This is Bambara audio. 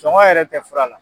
Sɔngɔn yɛrɛ tɛ fura la.